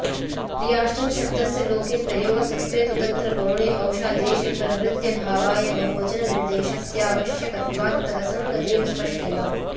प्रियाष्टन्शब्दस्य लोके प्रयोगसत्त्वे तु तत्र गौणे औशादेशप्रवृत्त्यभावाय बहुवचननिर्देशस्यावश्यकत्वात्तदसङ्गतिः स्पष्टैव